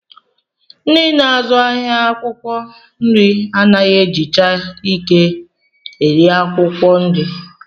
Ndị na-azụ ahịa akwụkwọ nri anaghị ejicha ike eri akwụkwọ nri